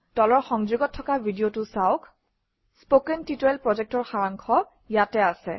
তলৰ সংযোগত থকা ভিডিঅটো চাওক কথন শিক্ষণ প্ৰকল্পৰ সাৰাংশ ইয়াত আছে